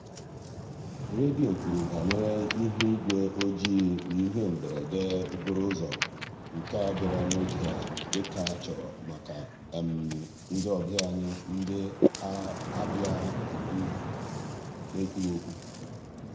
redio kwuru banyere ihuigwe oji na ihe mberede okporo ụzọ nke a bịara n'oge dịka a chọrọ maka ndị ọbịa anyị na-abịa n'ekwughị ekwu.